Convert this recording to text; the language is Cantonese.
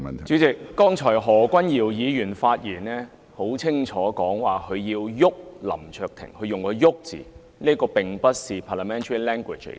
主席，剛才何君堯議員在發言中清楚說，他要"'郁'林卓廷"，他用"郁"這個字，這並不是 parliamentary language。